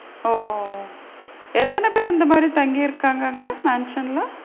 ஓ! எத்தன பேரு இந்த மாதிரி தங்கி இருக்காங்க அங்க mansion ல?